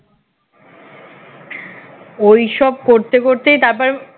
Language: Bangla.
ওই সব করতে করতেই তারপর